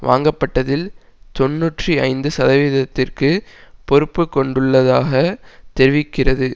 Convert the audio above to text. வாங்கப்பட்டதில் தொன்னூற்றி ஐந்து சதவிகிதத்திற்கு பொறுப்பு கொண்டுள்ளதாக தெரிவிக்கிறது